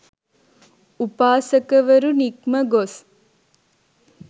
උපාසකවරු නික්ම ගොස්